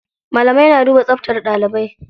Malamai na duba tsabtar ɗalibai.